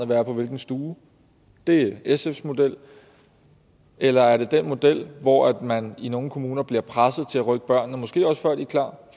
være på hvilken stue det er sfs model eller er det den model hvor man i nogle kommuner bliver presset til at rykke børnene måske også før de er klar